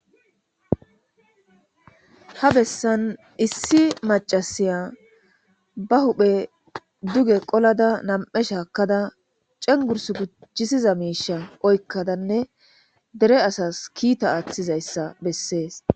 ha bessan issi macasiya ba huphe duge qolada nam7e shaakkada cengurs gucjisiza miisha oykkadanne dere asas kiita aaththizayssa bessees